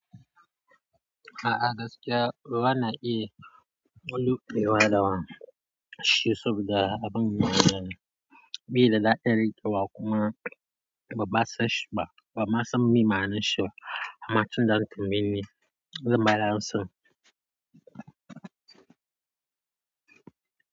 A'a gaskiya, wa na iya wani rufe wa da wa shi saboda abin ban mamaki bi da da'irar kewa kuma ban ma san shi ba, ban ma san me ma'anar shi ba. Amma tun da an tambaye ni, zan ba da amsa.